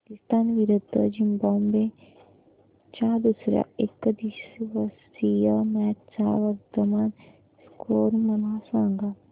पाकिस्तान विरुद्ध झिम्बाब्वे च्या दुसर्या एकदिवसीय मॅच चा वर्तमान स्कोर मला सांगा